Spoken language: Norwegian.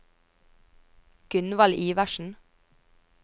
Gunvald Iversen